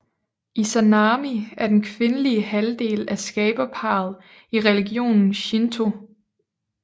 Izanami er den kvindelige halvdel af skaberparret i religionen Shinto